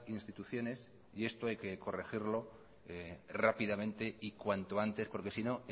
instituciones y esto hay que corregirlo rápidamente y cuanto antes porque si no